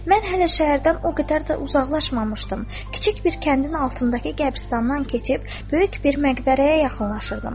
Mən hələ şəhərdən o qədər də uzaqlaşmamışdım, kiçik bir kəndin altındakı qəbirstandan keçib böyük bir məqbərəyə yaxınlaşırdım.